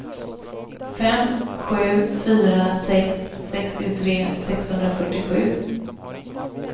fem sju fyra sex sextiotre sexhundrafyrtiosju